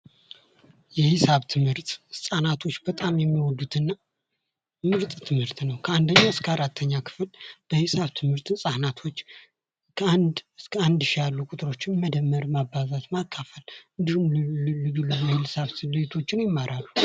የሂሳብ ትምህርት ህፃኖቶች በጣም የሚወዱት እና ምርጥ ትምህርት ነዉ። ከ1ኛ እስከ 4ኛ ክፍል በሂሳብ ትምህርት ህፃናቶች ከአንድ እስከ አንድ ሺህ ያሉ ቁጥሮችን መደመር፣ ማባዛት፣ ማካፈል እንዲሁም ልዩ ልዩ የሂሳብ ስሌቶችን ይማራሉ።